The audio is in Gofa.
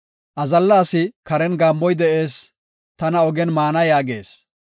Azalla asi, “Karen gaammoy de7ees; tana ogen maana” yaagees.